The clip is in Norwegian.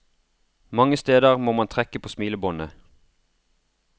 Mange steder må man trekke på smilebåndet.